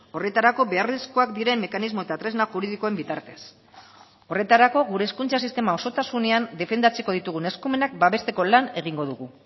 horretarako beharrezkoak diren mekanismo eta tresna juridikoen bitartez horretarako gure hezkuntza sistema osotasunean defendatzeko ditugun eskumenak babesteko lan egingo dugu